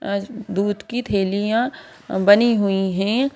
अज़ दूध की थैलियां बनी हुई हैं।